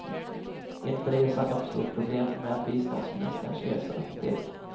Inför resan uppstod problem med biståndsministerns reseapotek.